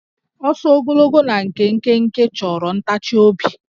Ọsọ ogologo na nke dị nkenke chọrọ ntachiobi